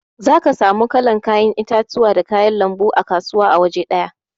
Zaka samu ku wanna kalan 'ya'yan itatuwa da kayan lanbu a kasuwa awaje daya.